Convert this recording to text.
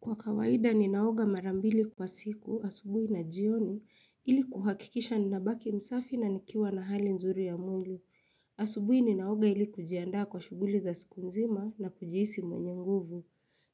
Kwa kawaida ninaoga marambili kwa siku, asubuhi na jioni ili kuhakikisha nina baki msafi na nikiwa na hali nzuri ya mwili. Asubuhi ninaoga ili kujiandaa kwa shughuli za siku nzima na kujihisi mwenye nguvu.